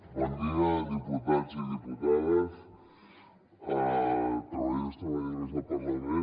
bon dia diputats i diputades treballadors i treballadores del parlament